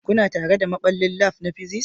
Kuna tare da maɓallin lab na physics